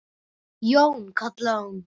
Jón, kallaði hún.